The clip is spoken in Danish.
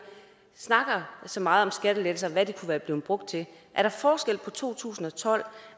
snakker så meget om skattelettelser og hvad de kunne være blevet brugt til er der forskel på to tusind og tolv